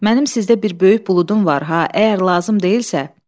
Mənim sizdə bir böyük buludum var ha, əgər lazım deyilsə.